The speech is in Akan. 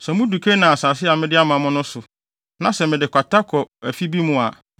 “Sɛ mudu Kanaan asase a mede ama mo no so, na sɛ mede kwata kɔ afi bi mu a,